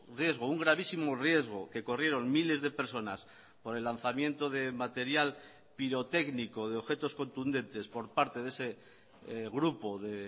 riesgo un gravísimo riesgo que corrieron miles de personas por el lanzamiento de material pirotécnico de objetos contundentes por parte de ese grupo de